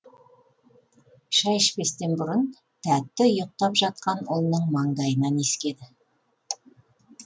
шай ішпестен бұрын тәтті ұйықтап жатқан ұлының маңдайынан иіскеді